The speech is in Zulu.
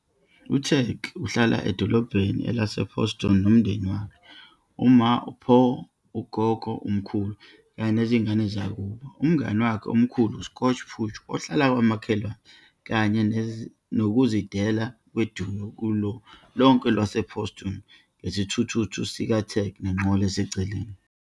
U-Tag uhlala edolobheni lase-Pawston nomndeni wakhe -- uMa, uPaw, uGogo, umkhulu, kanye nezingane zakubo. Umngani wakhe omkhulu u-Scooch Pooch uhlala kwamakhelwane, kanye nokuzidela kwe-duo kulo lonke elase-Pawston ngesithuthuthu sika-Tag nenqola eseceleni.